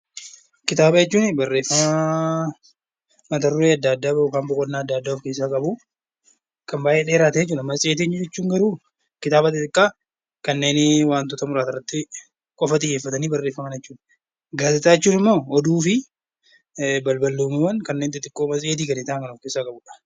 Kitaaba jechuun barreeffama boqonnaa addaa addaa of keessaa qabu, kan baayyee dheerate. Matseetiin immoo kitaaba xixiqqaa irratti xiyyeeffatanii barreeffaman jechuudha. Gaazexaawwan jechuun immoo oduu fi balballoomuuwwan kan of keessaa qabudha.